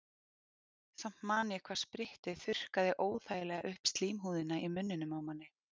Samt man ég hvað sprittið þurrkaði óþægilega upp slímhúðina í munninum á manni.